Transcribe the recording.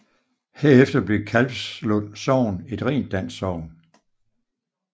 Herefter blev Kalvslund Sogn et rent dansk sogn